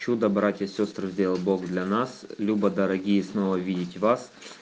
чудо братья сестры сделал бог для нас люба дорогие снова видеть вас